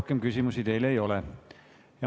Rohkem küsimusi teile ei ole.